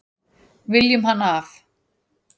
Viljum hann af.